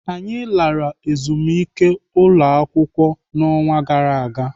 Anyị lara ezumike ụlọakwụkwọ n'ọnwa gara aga.